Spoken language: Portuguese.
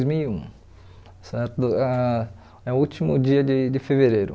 Dois mil e um, certo ãh? É o último dia de de fevereiro.